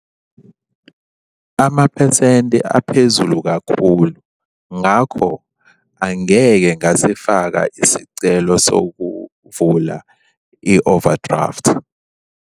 Amaphesenti aphezulu kakhulu, ngakho angeke ngasifaka isicelo sokuvula i-overdraft.